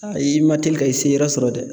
i ma teli ka i seyɔrɔ sɔrɔ dɛ.